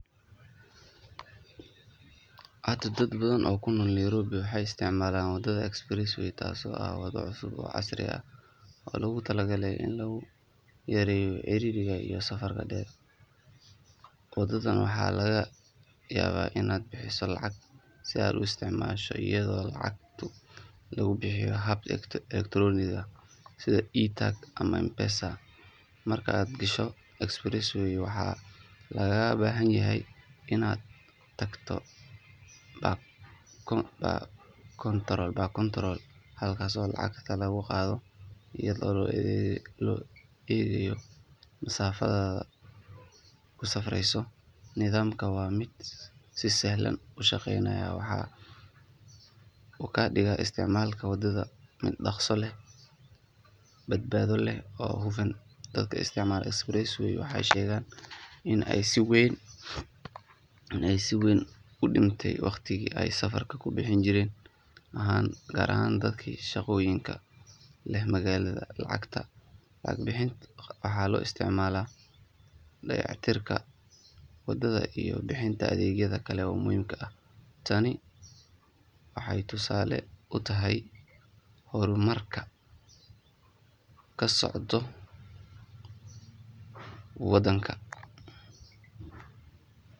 Haa dad badan oo ku nool Nairobi waxay isticmaalaan waddada express way taasoo ah waddo cusub oo casri ah oo loogu talagalay in lagu yareeyo ciriiriga iyo safarka dheer. Waddadan waxaa laga yaabaa inaad bixiso lacag si aad u isticmaasho iyadoo lacagta lagu bixiyo hab elektaroonik ah sida e-tag ama M-Pesa. Marka aad gasho express way waxaa lagaaga baahan yahay inaad tagto bar kontarool halkaas oo lacagta laga qaado iyadoo loo eegayo masaafada aad ku safreyso. Nidaamkani waa mid si sahlan u shaqeynaya waxaana uu ka dhigaa isticmaalka waddada mid dhakhso leh, badbaado leh oo hufan. Dadka isticmaala express way waxay sheegaan in ay si weyn u dhimtay waqtigii ay safarka ku bixi jireen gaar ahaan dadka shaqooyinka ku leh magaalada. Lacagta laga qaado waxaa loo isticmaalaa dayactirka waddada iyo bixinta adeegyo kale oo muhiim ah. Tani waxay tusaale u tahay horumarka ka socda waddanka.